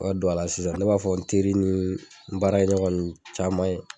O don ala sisan ne b'a fɔ n teri ni n baara ɲɔgɔn nuw caman ye